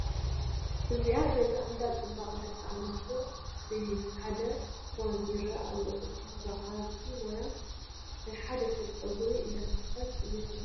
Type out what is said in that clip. እዚ ገዛ እንዳ ፅባቐ ደቒ ኣነስትዩ እዩ ሓደ ፎን ይረኣይ ኣሎ እታ በዓልቲ ሞያ ናይ ሓደ ሰብ ፀጉሪ እንዳሰርሓት እያ ዘላ ።